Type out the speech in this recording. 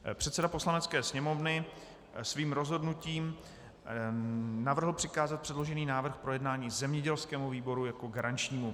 Předseda Poslanecké sněmovny svým rozhodnutím navrhl přikázat předložený návrh k projednání zemědělskému výboru jako garančnímu.